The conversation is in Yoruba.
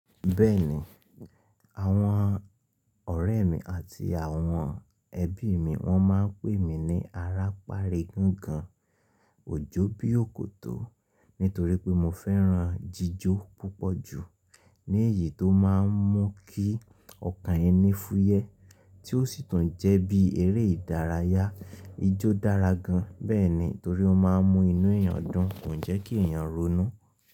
Bẹ́ẹ̀ni, àwọn ọ̀rẹ́ mi àti àwọn ẹbí mi wọ́n máa ń pè mí ní ará pari gangan, òjó bí òkòtó, nítorí pé mo fẹ́ran jíjó púpọ̀ jù. Ní èyí tó máa ń mú kí ọkàn ẹni fúyẹ́, tí ó sì tún jẹ́ bí eré ìdárayá, ijó dára gan bẹ́ẹ̀ ni torí ó máa ń mú inú èèyàn dùn, kò jẹ́ kí èèyàn ronú.